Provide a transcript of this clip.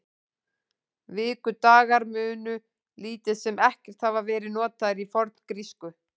Vikudagar munu lítið sem ekkert hafa verið notaðir í forngrísku.